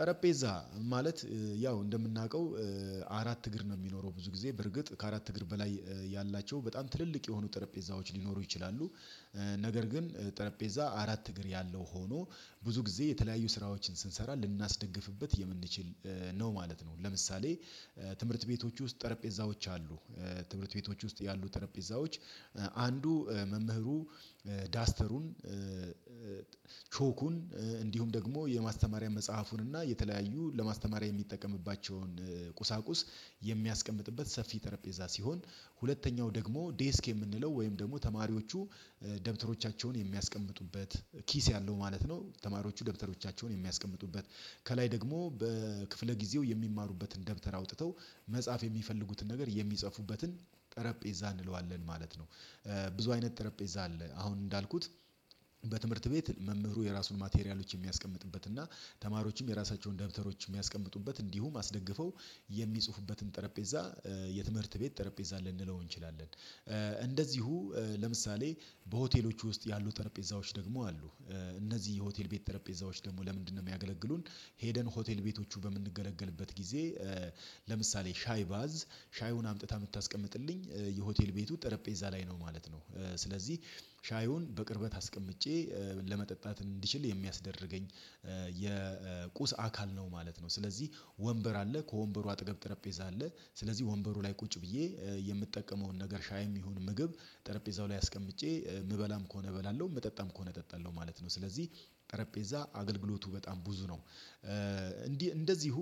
ጠረጴዛ ማለት ያው እንደምናውቀው አራት እግር ነው የሚኖረው ብዙ ጊዜ በርግጥ ከአራት እግር በላይ ያላቸው በጣም ትልልቅ የሆኑ ጠረጴዛዎች ሊኖሩ ይችላሉ። ነገር ግን ጠረጴዛ አራት እግር ያለው ሆኖ ብዙ ጊዜ የተለያዩ ስራዎችን ስንሰራ ልናስደግፍበት የምንችል ነው ማለት ነው። ለምሳሌ ትምህርት ቤቶች ውስጥ ጠረጴዛዎች አሉ። ትምህርት ቤቶች ውስጥ ያሉ ጠረጴዛዎች አንዱ መምህሩ ዳስተሩን ቾኩን እንዲሁም ደግሞ የማስተማሪያ መጽሐፉን እና የተለያዩ ለማስተማሪያ የሚጠቀምባቸውን ቁሳቁስ የሚያስቀምጥበት ሰፊ ጠረጴዛ ሲሆን። ደግሞ ዴስክ የምንለው ወይም ደግሞ ተማሪዎቹ ደብተሮቻቸውን የሚያስቀምጡበት ኪስ ያለው ማለት ነው። ተማሪዎቹ ደብተሮቻቸውን የሚያስቀምጡበት ከላይ ደግሞ በክፍለ ጊዜው የሚማሩበትን ደብተር አውጥተው መፃሐፍ የሚፈልጉትን ነገር የሚጽፉበትን ጠረጴዛ እንለዋለን ማለት ነው። ብዙ አይነት ጠረጴዛ አለ። አሁን እንዳልኩት በትምህርት ቤት መምህሩ የራሱን ማቴሪያሎች የሚያስቀምጥበት እና ተማሪዎችም የራሳቸውን ደብተሮችን የሚያስቀምጡበት እንዲሁም አስደግፈው የሚጽፉበትን ጠረጴዛ የትምህርት ቤት ጠረጴዛ ልንለው እንችላለን። እንደዚሁ ለምሳሌ በሆቴሎቹ ውስጥ ያሉ ጠረጴዛዎች ደግሞ አሉ። እነዚህ የሆቴል ቤት ጠረጴዛዎች ደግሞ ለምንድነው የሚያገለግሉን ሄደን ሆቴል ቤቶቹ በምንገለገልበት ጊዜ። ለምሳሌ ሻይ ባዝ ሻዩን አምጥታ የምታስቀምጥልኝ የሆቴል ቤቱ ጠረጴዛ ላይ ነው ማለት ነው። ስለዚህ ሻዩን በቅርበት አስቀምጬ ለመጠጣት እንድችል የሚያስደርገኝ የቁስ አካል ነው ማለት ነው። ስለዚህ ወንበር አለ ከወንበሩ አጠገብ ጠረጴዛ አለ ስለዚህ ወንበሩ ላይ ቁጭ ብዬ የምጠቀመውን ነገር ሻይም ይሁን ምግብ ጠረጴዛው ላይ አስቀምጬ የምበላም ከሆነ እበላለሁ ምጠጣም ከሆነ እጠጣለሁ ማለት ነው። ስለዚህ ጠረጴዛ አገልግሎቱ በጣም ብዙ ነው። እንዲህ እንደዚሁ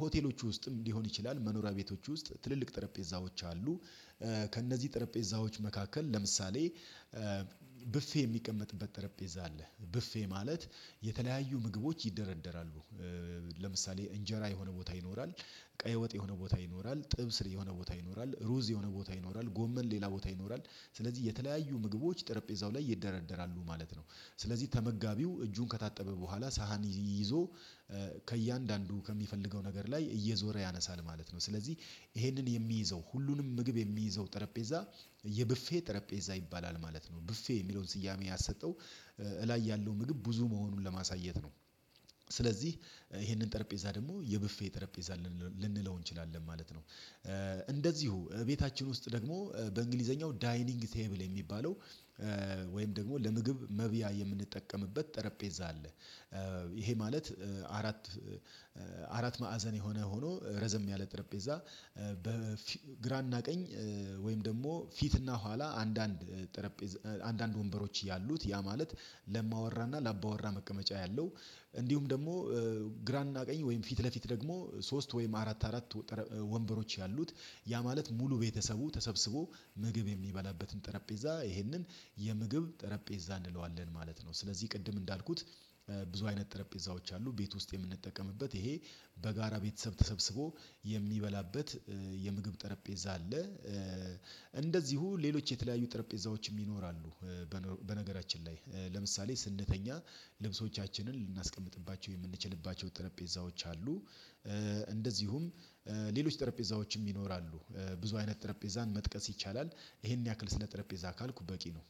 ሆቴሎቹ ውስጥም ሊሆን ይችላል መኖሪያ ቤቶች ውስጥ ትልልቅ ጠረጴዛዎች አሉ። ከእነዚህ ጠረጴዛዎች መካከል ለምሳሌ ብፌ የሚቀመጥበት ጠረጴዛ አለ ብፌ ማለት የተለያዩ ምግቦች ይደረደራሉ። ለምሳሌ እንጀራ የሆነ ቦታ ይኖራል ቀይ ወጥ የሆነ ቦታ ይኖራል ጥብስ የሆነ ቦታ ይኖራል ሩዝ የሆነ ቦታ ይኖራል ጎመን ሌላ ቦታ ይኖራል ስለዚህ የተለያዩ ምግቦች ጠረጴዛው ላይ ይደረደራሉ ማለት ነው። ስለዚህ ተመጋቢው እጁን ከታጠበ በኋላ ሳህን ይዞ ከእያንዳንዱ ከሚፈልገው ነገር ላይ እየዞረ ያነሳል ማለት ነው። ስለዚህ ይሄንን የሚይዘው ሁሉንም ምግብ የሚይዘው ጠረጴዛ የብፌ ጠረጴዛ ይባላል ማለት ነው። ብፌ የሚለውን ስያሜ ያሰጠው እላይ ያለው ምግብ ብዙ መሆኑን ለማሳየት ነው። ስለዚህ ይሄንን ጠረጴዛ ደግሞ የብፌ ጠረጴዛ ልንለው እንችላለን ማለት ነው። እንደዚሁ ቤታችን ውስጥ ደግሞ በእንግሊዘኛው ዳይኒንግ ቴብል የሚባለው ወይም ደግሞ ለምግብ መብያ የምንጠቀምበት ጠረጴዛ አለ። ይሄ ማለት አራት አራት ማዕዘን የሆነ ሆኖ ረዘም ያለ ጠረጴዛ። በግራና ቀኝ ወይም ደግሞ ፊትና ኋላ አንዳንድ ጠረጴዛ አንዳንድ ወንበሮች ያሉት ያ ማለት ለእማወራና ለአባወራ መቀመጫ ያለው እንዲሁም ደግሞ ግራና ቀኝ ወይም ፊት ለፊት ደግሞ ሶስት ወይም አራት አራት ወንበሮች ያሉት ያ ማለት ሙሉ ቤተሰቡ ተሰብስቦ ምግብ የሚበላበትን ጠረጴዛ ይሄንን የምግብ ጠረጴዛ እንለዋለን ማለት ነው። ስለዚህ ቅድም እንዳልኩት ብዙ አይነት ጠረጴዛዎች አሉ። ቤት ውስጥ የምንጠቀምበት ይሄ በጋራ ቤተሰብ ተሰብስቦ የሚበላበት የምግብ ጠረጴዛ አለ። እንደዚሁ ሌሎች የተለያዩ ጠረጴዛዎችም ይኖራሉ። በነገራችን ላይ ለምሳሌ ስንተኛ ልብሶቻችንን ልናስቀምጥባቸው የምንችልባቸው ጠረጴዎች አሉ። እንደዚሁም ሌሎች ጠረጴዛዎችም ይኖራሉ ብዙ አይነት ጠረጴዛን መጥቀስ ይቻላል። ይሄን ያክል ስለ ጠረጴዛ ካልኩ በቂ ነው።